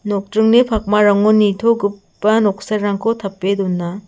nokdringni pakmarango nitogipa noksarangko tape dona.